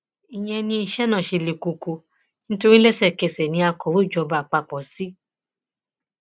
ìyẹn ni iṣẹ náà ṣe le koko nítorí lẹsẹkẹsẹ ní akọwé ìjọba àpapọ c